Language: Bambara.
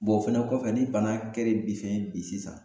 Bɔn o fɛnɛ kɔfɛ ni bana kɛren bi fɛn bi sisan